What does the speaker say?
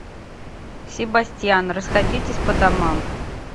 себастьян расходитесь по домам